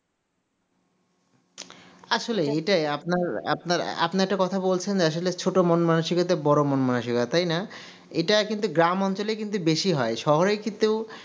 আসলেই এটা আপনার আপনার আপনি একটা কথা বলছেন আসলে ছোটো মন মানুষিকতার বোরো মন মানুসিকতা তাই না এটা কিন্তু গ্রাম অঞ্চলে কিন্তু বেশি হয় শহরের কিন্তু